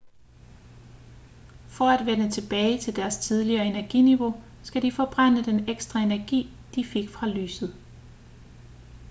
for at vende tilbage til deres tidligere energiniveau skal de forbrænde den ekstra energi de fik fra lyset